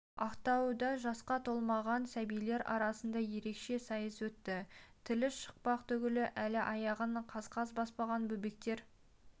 ақтауда жасқа толмаған сәбилер арасында ерекше сайыс өтті тілі шықпақ түгілі әлі аяғын қаз-қаз баспаған бөбектер